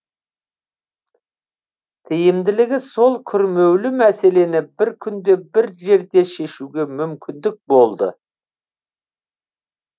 тиімділігі сол күрмеулі мәселені бір күнде бір жерде шешуге мүмкіндік болды